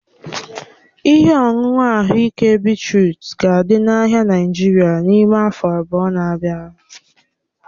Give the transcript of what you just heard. Ihe ọṅụṅụ ahụike beetrut ga-adị n'ahịa Naịjirịa n'ime afọ abụọ na-abịa.